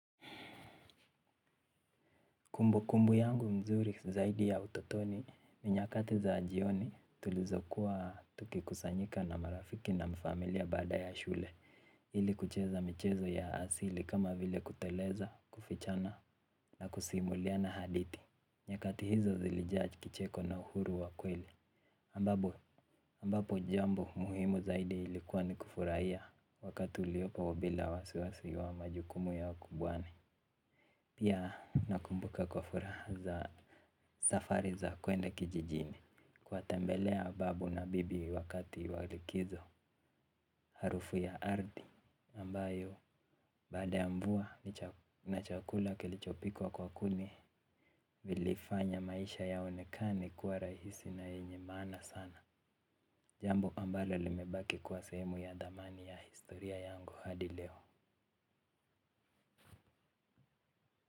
Kumbu kumbu yangu mzuri zaidi ya utotoni, ninyakati za jioni tulizo kuwa tuki kusanyika na marafiki na mfamilia baada ya shule. Ili kucheza michezo ya asili kama vile kuteleza, kufichana na kusimuliana hadithi. Nyakati hizo zili judge kicheko na uhuru wakweli ambapo jambo muhimu zaidi ilikuwa ni kufurahia wakati uliopo bila wasiwasi wa majukumu ya kubwani. Pia nakumbuka kwa furaha za safari za kwenda kijijini. Kuwa tembelea babu na bibi wakati walikizo harufu ya ardhi ambayo baada yamvua na chakula kilichopikwa kwa kuni vilifanya maisha yaonekane kuwa rahisi na yenyemaana sana. Jambo ambayo limebaki kuwa sehemu ya dhamani ya historia yangu hadileo.